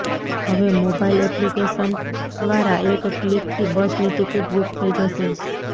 હવે mobile application દ્વારા એક ક્લિકથી બસની ટિકિટ બુક થઇ જશે